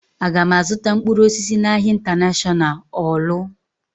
Aga m azụta mkpụrụ osisi n'ahia Intanashọnal Ọọlụ?